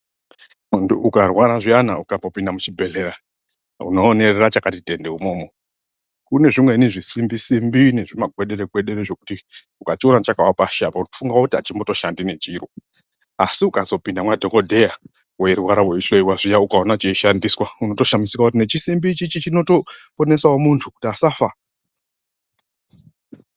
Muntu ukarwara zviyana ukambopinda muchibhedhlera unoonerera chakati tende imwomwo. Kune zvimweni zvisimbi-simbi nemazvigwedere-gwedere zvekuti ukachiona chakawe pashi apo unofunga kuti hachitomboshandi nechiro. Asi ukazopinda mwadhogodheya weirwara weihloyiwa zviya ukaona cheishandiswa unotoshamisika kuti nechisimbi ichichi chinotoponesawo muntu kuti asafa.